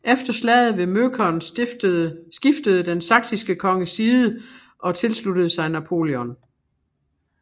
Efter slaget ved Möckern skiftede den saksiske konge side og tilsluttede sig Napoleon